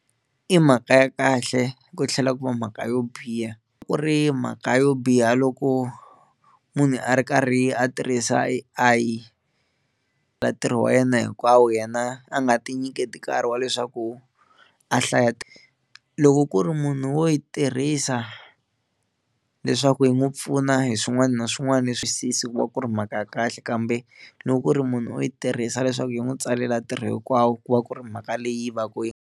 I mhaka ya kahle ku tlhela ku va mhaka yo biha ku ri mhaka yo biha loko munhu a ri karhi a tirhisa A_I ka ntirho wa yena hinkwawo yena a nga ti nyiketi nkarhi wa leswaku a hlaya, loko ku ri munhu wo yi tirhisa leswaku yi n'wi pfuna hi swin'wana na swin'wana leswi ku va ku ri mhaka ya kahle kambe loko ku ri munhu u yi tirhisa leswaku yi n'wi tsalela ntirho hinkwawo ku va ku ri mhaka leyi va ka yi.